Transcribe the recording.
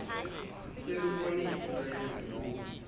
selubone iinto ezinkulu